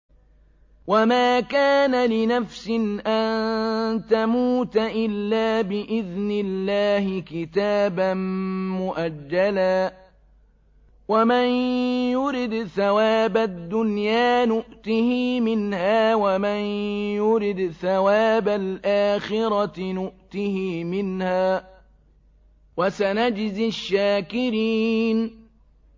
وَمَا كَانَ لِنَفْسٍ أَن تَمُوتَ إِلَّا بِإِذْنِ اللَّهِ كِتَابًا مُّؤَجَّلًا ۗ وَمَن يُرِدْ ثَوَابَ الدُّنْيَا نُؤْتِهِ مِنْهَا وَمَن يُرِدْ ثَوَابَ الْآخِرَةِ نُؤْتِهِ مِنْهَا ۚ وَسَنَجْزِي الشَّاكِرِينَ